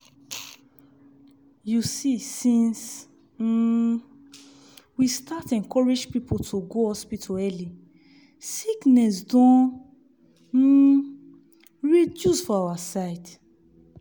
you see since um we start encourage people to go hospital early sickness don um reduce for our side.